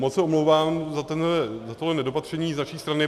Moc se omlouvám za toto nedopatření z naší strany.